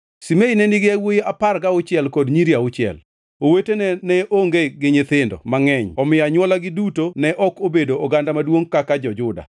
Shimei ne nigi yawuowi apar gauchiel kod nyiri auchiel, owetene to ne onge gi nyithindo mangʼeny omiyo anywolagi duto ne ok obedo oganda maduongʼ kaka jo-Juda.